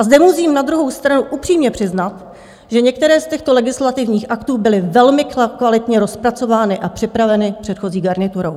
A zde musím na druhou stranu upřímně přiznat, že některé z těchto legislativních aktů byly velmi kvalitně rozpracovány a připraveny předchozí garniturou.